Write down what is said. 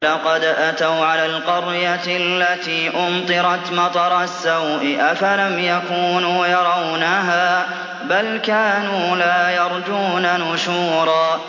وَلَقَدْ أَتَوْا عَلَى الْقَرْيَةِ الَّتِي أُمْطِرَتْ مَطَرَ السَّوْءِ ۚ أَفَلَمْ يَكُونُوا يَرَوْنَهَا ۚ بَلْ كَانُوا لَا يَرْجُونَ نُشُورًا